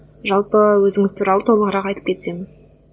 жалпы өзіңіз туралы толығырақ айтып кетсеңіз